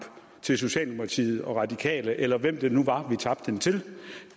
til socialdemokratiet og radikale eller hvem det nu var vi tabte den til